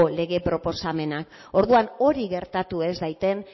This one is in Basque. lege proposamena eta orduan hori gertatu ez dadin